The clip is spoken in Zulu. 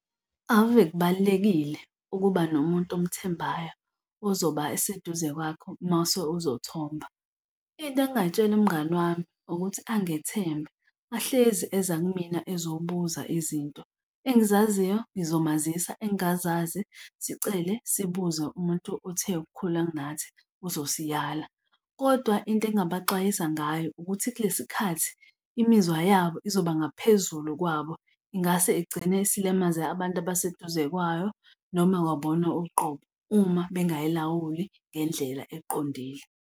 Ave kubalulekile ukuba nomuntu omthembayo ozoba seduze kwakho uma use uzothomba. Into engingayitshela umngani wami ukuthi angethembe ahlezi eza kumina ezobuza izinto, engizaziyo ngizomazisa, engingazazi sicele sibuze umuntu othe ukukhula kunathi uzosiyala. Kodwa into engingabaxwayisa ngayo ukuthi kulesi khathi imizwa yabo izoba ngaphezulu kwabo, ingase igcine isilimaze abantu abaseduze kwayo noma kwabona uqobo uma bengayilawuli ngendlela eqondile.